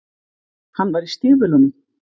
Hann var í stígvélunum.